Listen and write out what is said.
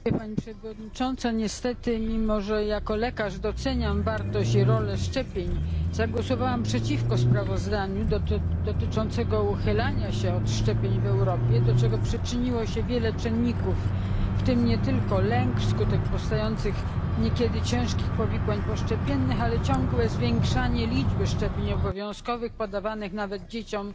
Pani Przewodnicząca! Niestety mimo, że jako lekarz doceniam wartość i rolę szczepień, zagłosowałam przeciwko sprawozdaniu dotyczącemu uchylania się od szczepień w Europie, do czego przyczyniło się wiele czynników, w tym nie tylko lęk przed niekiedy ciężkimi powikłaniami poszczepiennymi, ale również ciągłe zwiększanie liczby szczepień obowiązkowych podawanych nawet dzieciom